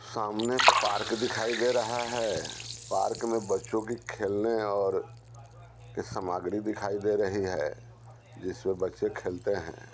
सामने पार्क दिखाई दे रहा है पार्क में बच्चों की खेलने और की सामग्री दिखाई दे रही है जिसमें बच्चे खेलते हैं।